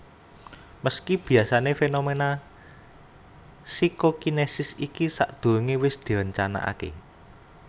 Meski biasané fenomena psikokinesis iki sadhurungé wis direncanakaké